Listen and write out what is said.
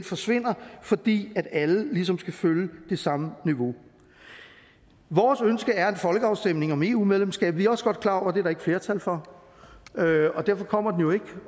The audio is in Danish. forsvinder fordi alle ligesom skal følge det samme niveau vores ønske er en folkeafstemning om eu medlemskab vi er også godt klar over det der ikke flertal for og derfor kommer den jo ikke